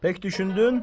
Pək düşündün?